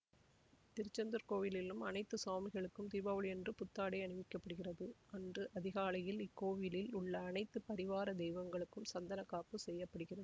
திருச்செந்தூர் கோயிலிலும் அனைத்து சுவாமிகளுக்கும் தீபாவளியன்று புத்தாடை அணிவிக்கப்படுகிறது அன்று அதிகாலையில் இக்கோவிலில் உள்ள அனைத்து பரிவார தெய்வங்களுக்கும் சந்தன காப்பு செய்ய படுகிறது